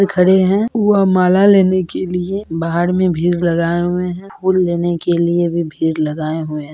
खड़े हैं वह माला लेने के लिए बाहर में भीड़ लगाए हुए हैं फूल लेने के लिए भी भीड़ लगाए हुए हैं।